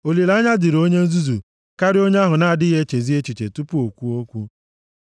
Olileanya dịrị onye nzuzu karịa onye ahụ na-adịghị echezi echiche tupu o kwuo okwu.